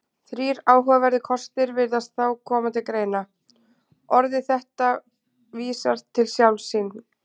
Þrír áhugaverðir kostir virðast þá koma til greina: Orðið þetta vísar til sjálfs sín.